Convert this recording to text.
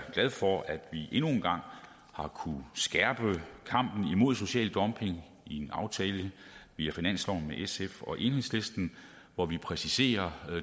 glad for at vi endnu en gang har kunnet skærpe kampen mod social dumping i en aftale via finansloven med sf og enhedslisten hvor vi præciserer